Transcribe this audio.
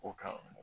O kan